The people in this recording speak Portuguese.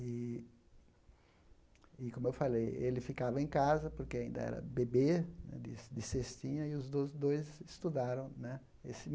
E, e como eu falei, ele ficava em casa, porque ainda era bebê né, de de cestinha, e os do dois estudaram né.